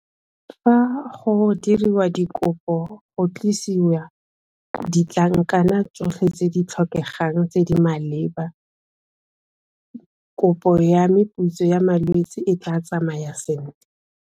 Fa go diriwa dikopo go tlisiwa ditlankana tsotlhe tse di tlhokegang tse di maleba kopo ya meputso ya malwetse e tla tsamaya sentle.